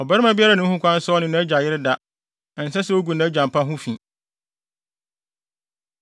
Ɔbarima biara nni ho kwan sɛ ɔne nʼagya yere da; ɛnsɛ sɛ ogu nʼagya mpa ho fi.